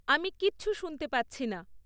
আমি কিচ্ছু শুনতে পাচ্ছি না